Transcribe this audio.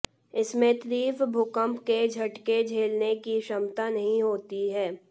इसमें तीव्र भूकंप के झटके झेलने की क्षमता नहीं होती है